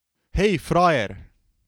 Hej, frajer!